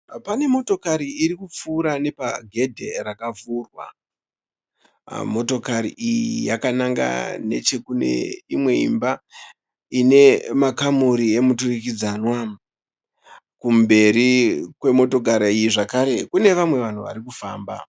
Pane motokari irikupfuura nepagedhe rakavhurwa. Motokari iyi yakananga nechekune imwe imba ine makamuri emuturikidzanwa. Kumberi kwemotokari iyi zvekare kune vamwe vanhu varikufamba.